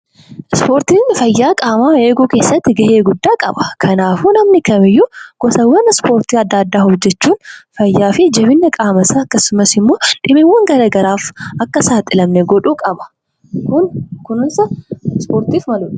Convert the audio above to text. Ispoortiin fayyaa qaamaa eeguu keessatti gahee qaba. Kanaafuu namni kamiiyyuu gosawwan ispoortii adda addaa hojjechuun fayyaa fi jabina qaama isaa akkasumas immoo dhibeewwan gara garaaf akka hin saaxilamne godhuu qaba. Kun kunuunsa ispoortiif maludha.